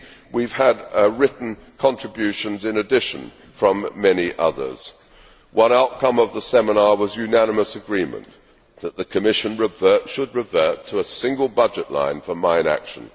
and we have also had written contributions from many others. One outcome of the seminar was unanimous agreement that the Commission should revert to a single budget line for mine action.